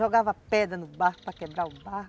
Jogava pedra no barco para quebrar o barco.